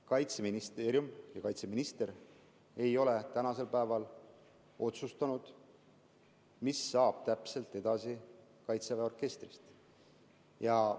Kaitseministeerium ja kaitseminister ei ole tänasel päeval otsustanud, mis täpselt saab kaitseväe orkestrist edasi.